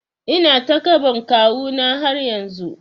Ina takaɓan kawu na har yanzu